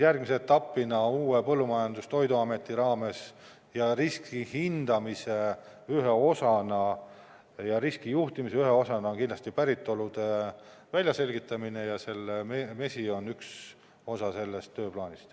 Järgmise etapina uue põllumajandus- ja toiduameti raames ning riskihindamise ja riskijuhtimise ühe osana on kindlasti päritolu väljaselgitamine, ja mesi on üks osa sellest tööplaanist.